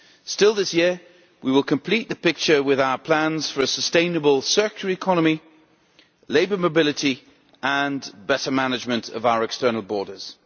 Still this year, we will complete the picture with our plans for a sustainable circular economy, labour mobility and better management of our external borders.